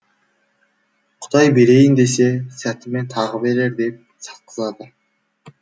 құдай берейін десе сәтімен тағы берер деп сатқызады